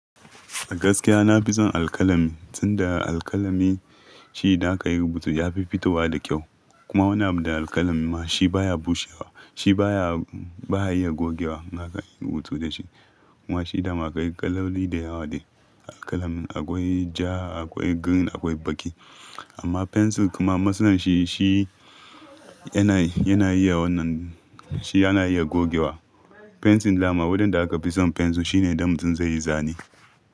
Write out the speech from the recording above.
A gaskiya na fi son alƙalami, sanda alƙalami shi da aka yi rubutu yafi fitowa da kyau. Kuma wani abu da alƙalami ma shi baya bushewa, shi baya, baya iya gogewa. Na kan yi rubutu da shi. Kuma shi dama akwai kaloli da yawa ne. Alƙalami akwai ja, akwai green, akwai baƙi. Amma fensil kuma masalan shi, shi yana, yana iya wannan, shi yana iya gogewa. Fensil ma wadanda aka fi son fensil shine don mutum zai yi zane.